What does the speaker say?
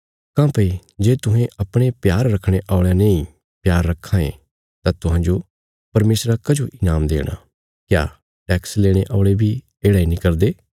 काँह्भई जे तुहें अपणे प्यार रखणे औल़यां नेई प्यार रखां ये तां तुहांजो परमेशरा कजो ईनाम देणा क्या टैक्स लेणे औल़े बी येढ़ा इ नीं करदे